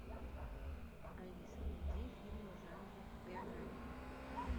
алиса найди фильм в жанре биография